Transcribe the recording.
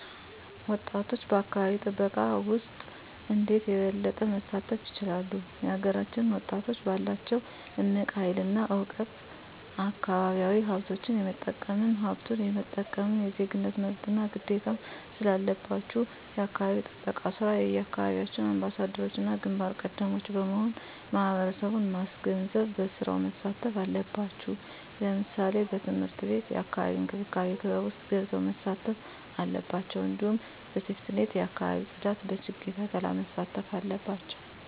ወጣቶች በአካባቢ ጥበቃ ውስጥ እንዴት የበለጠ መሳተፍ ይችላሉ? የሀገራችንን ወጣቶች ባላቸው እምቅ ሀይል እና እውቀት አካባቢያዊ ሀብቶች የመጠቀምም ሀብቱን የመጠበቅም የዜግነት መብትና ግዴታም ስላለባችሁ የአካባቢ ጥበቃ ስራ የየአካባቢያችሁ አምባሳደሮችና ግንባር ቀደሞች በመሆን ማህበረሰቡን ማስገንዘብ በስራው መሳተፍ አለባቸው ለምሳሌ በትምህርት ቤት የአካባቢ እንክብካቤ ክበብ ውስጥ ገብተው መሳተፍ አለባቸው እንዲሁም በሴፍትኔት የአካባቢ ፅዳት በችግኝ ተከላ መሳተፍ አለባቸው